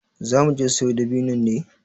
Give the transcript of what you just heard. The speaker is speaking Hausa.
Za muje siyo dabinnon ne?